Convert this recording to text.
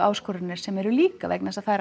áskoranir sem eru líka vegna þess að það er